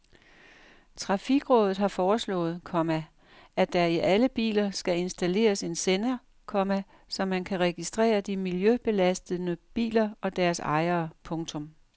Trafikrådet har foreslået, komma at der i alle biler skal installeres en sender, komma så man kan registrere de miljøbelastende biler og deres ejere. punktum